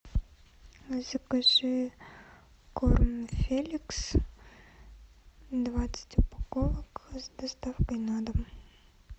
закажи корм феликс двадцать упаковок с доставкой на дом